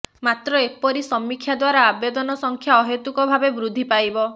ମାତ୍ର ଏପରି ସମୀକ୍ଷା ଦ୍ବାରା ଆବେଦନ ସଂଖ୍ୟା ଅହେତୁକ ଭାବେ ବୃଦ୍ଧିପାଇବ